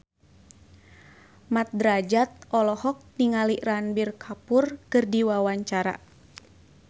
Mat Drajat olohok ningali Ranbir Kapoor keur diwawancara